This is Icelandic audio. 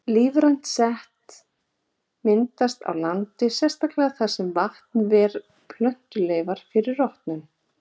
Lífrænt set myndast á landi, sérstaklega þar sem vatn ver plöntuleifar fyrir rotnun.